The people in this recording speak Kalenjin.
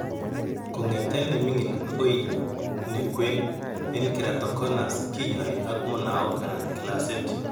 KOngeten ne mingin agoi ne kween en keratoconus kinyaay ak munaok anan glaasit